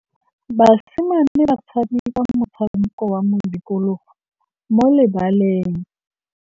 Basimane ba tshameka motshameko wa modikologô mo lebaleng.